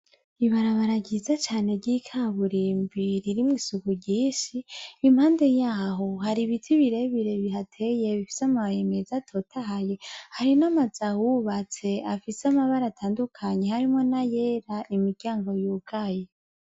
Ibarabara ryiza cane ry’ikaburimbi ririmwo isuku ryinshi impande y’aho hari ibiti birebire bihateye bifise amababi meza atotahaye , hari n’amazu ahubatse afise amabara atandukanye harimwo n’ayera imiryango yugaye.